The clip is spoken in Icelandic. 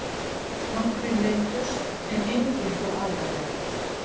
Nokkrir meiddust en engir þó alvarlega